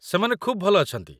ସେମାନେ ଖୁବ୍ ଭଲ ଅଛନ୍ତି।